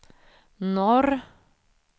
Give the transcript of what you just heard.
norr